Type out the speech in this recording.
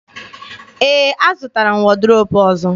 Ee, azụtara m wọdrobu ọzọ.